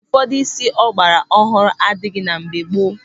Ụfọdụ ụdị ísí ọ gbara ọhụrụ adịghị na mgbe gboo.